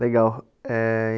Legal eh.